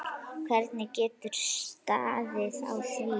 Hvernig getur staðið á því?